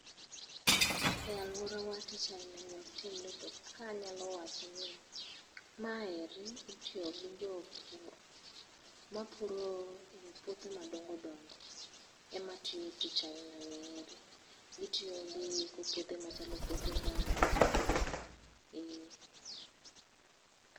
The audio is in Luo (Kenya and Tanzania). E aluorawa tich ailani ok timre to ka anyalo wacho ma eri itiyo go gi jopur mapuro puothe madongo dongo ema tiyo tich aila ni heri gitiyo gi puodhe machalo puothe ngano ee